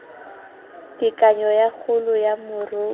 tekanyo ya kgolo ya moruo